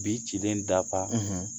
Bi cilen da